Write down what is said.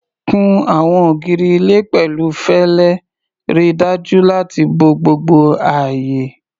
Kun àwọn ògiri ilé pẹ̀lú fẹlẹ, ríi dájú láti bo gbogbo ààyè.